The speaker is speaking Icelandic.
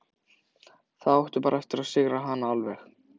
Þá áttu bara eftir að sigra hana alveg.